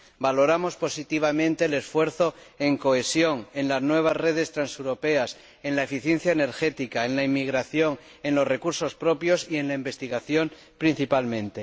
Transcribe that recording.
Valoramos positivamente el esfuerzo en cohesión, en las nuevas redes transeuropeas, en la eficiencia energética, en la inmigración, en los recursos propios y en la investigación, principalmente.